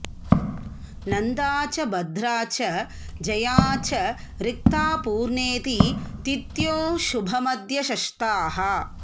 नंदा च भद्रा च जया च रिक्ता पूर्णेति तिथ्योऽशुभमध्यशस्ताः